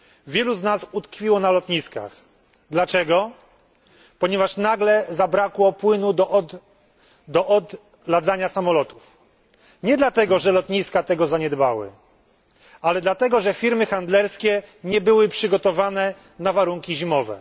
Wielu z nas utkwiło na lotniskach. Dlaczego? Ponieważ nagle zabrakło płynu do odladzania samolotów. Nie dlatego, że lotniska tego zaniedbały, ale dlatego, że firmy handlerskie nie były przygotowane na warunki zimowe.